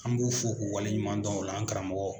An b'u fo k'o waleɲuman dɔn o la an karamɔgɔw